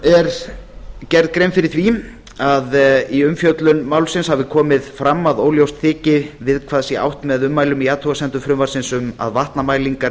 er gerð grein fyrir því að í umfjöllun málsins hafi komið fram að óljóst þyki við hvað átt sé með ummælum í athugasemdum frumvarpsins um að vatnamælingar